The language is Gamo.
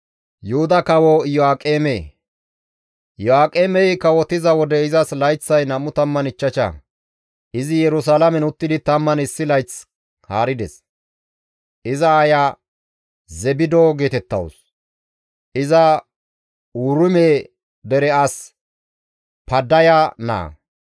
Iyo7aaqemey kawotiza wode izas layththay 25; izi Yerusalaamen uttidi 11 layth haarides. Iza aaya Zebido geetettawus; iza Uruume dere as Paddaya naa.